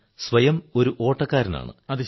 ഞാൻ സ്വയം ഒരു ഓട്ടക്കാരനാണ്